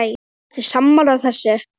Ertu sammála þessu?